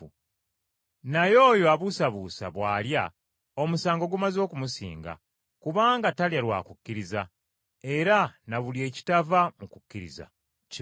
Naye oyo abuusabuusa bw’alya, omusango gumaze okumusinga, kubanga talya lwa kukkiriza, era na buli ekitava mu kukkiriza kiba kibi.